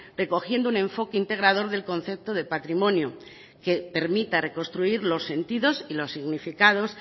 recogiendo un enfoque integrador del concepto de patrimonio que permita reconstruir los sentidos y los significados